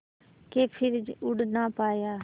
के फिर उड़ ना पाया